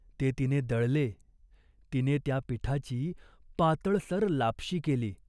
ते तिने दळले. तिने त्या पिठाची पातळसर लापशी केली.